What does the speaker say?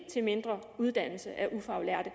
til mindre uddannelse af ufaglærte